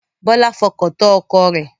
Bọlá fọkàn tán ọkọ rẹ̀